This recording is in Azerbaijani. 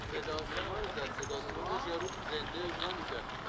sənin zədənin yerində qalıb, yəqin belə olmalıdır.